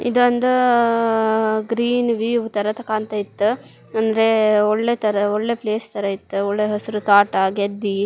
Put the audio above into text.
ಇದೊಂದ್ green view ತರದ್ ಕಾಣ್ತಾ ಇತ್ತು ಅಂದ್ರೆ ಒಳ್ಳೆತರ ಒಳ್ಳೆ ಪ್ಲೇಸ್ ತರ ಇತ್ತು ಒಳ್ಳೆ ಹಸೀರ್ ತೋಟ ಗೆದ್ದಿ.